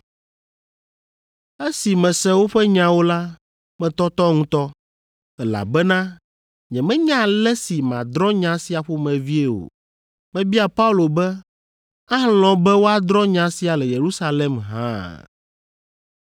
Esi mese woƒe nyawo la, metɔtɔ ŋutɔ, elabena nyemenya ale si madrɔ̃ nya sia ƒomevie o. Mebia Paulo be alɔ̃ be woadrɔ̃ nya sia le Yerusalem hã?